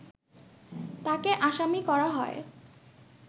তাকে আসামি করা হয়